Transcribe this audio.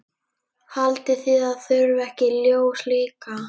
Haldið þið að það þurfi ekki ljós líka?